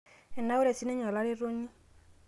enaura sininye olaretoni